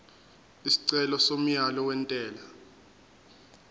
isicelo somyalo wentela